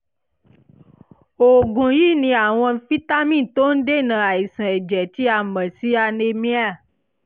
oògùn yìí ní àwọn fítámì tó ń dènà àìsàn ẹ̀jẹ̀ tí a mọ̀ sí anemia